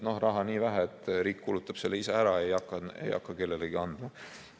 Raha on nii vähe, et riik kulutab selle ise ära, ei hakka kellelegi andma.